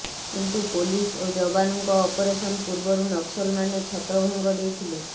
କିନ୍ତୁ ପୋଲିସ ଓ ଯବାନଙ୍କ ଅପରେସନ ପୂର୍ବରୁ ନକ୍ସଲମାନେ ଛତ୍ରଭଙ୍ଗ ଦେଇଥିଲେ